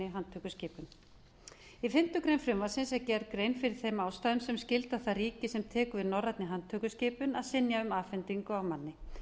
fimmtu grein frumvarpsins er gerð grein fyrir þeim ástæðum sem skylda það ríki sem tekur við norrænni handtökuskipun að synja um afhendingu á manni